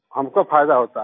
हमको फायदा होता है